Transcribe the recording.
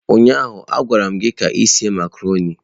Ụnyaahụ a gwaram gị ka ị sie macarọnị.